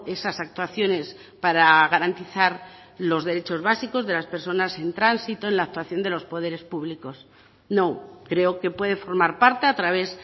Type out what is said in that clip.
esas actuaciones para garantizar los derechos básicos de las personas en tránsito en la actuación de los poderes públicos no creo que puede formar parte a través